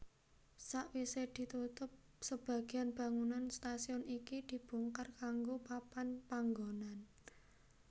Sawise ditutup sebagian bangunan stasiun iki dibongkar kanggo papan panggonan